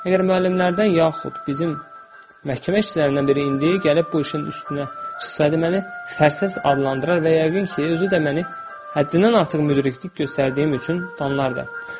Əgər müəllimlərdən yaxud bizim məhkəmə işçilərindən biri indi gəlib bu işin üstünə çıxsaydı, məni fərsiz adlandırar və yəqin ki, özü də məni həddindən artıq müdriklik göstərdiyim üçün danlardı.